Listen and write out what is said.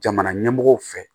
Jamana ɲɛmɔgɔw fɛ